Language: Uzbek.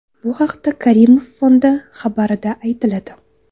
Bu haqda Karimov Fondi xabarida aytiladi .